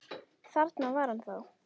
Þarna var hann þá!